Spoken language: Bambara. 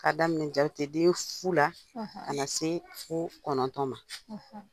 Ka daminɛ jateden fu la ka na se fo kɔnɔntɔn ma.